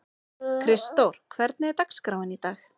Kristdór, hvernig er dagskráin í dag?